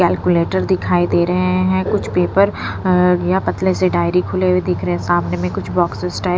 calculator दिखाई दे रहे हैं कुछ पेपर अअ या पतले से डायरी खुले हुए दिख रहे हैं सामने में कुछ बॉक्सेस टाइप --